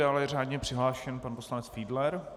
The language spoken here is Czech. Dále je řádně přihlášen pan poslanec Fiedler.